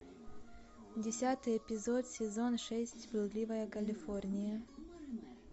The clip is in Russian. десятый эпизод сезон шесть блудливая калифорния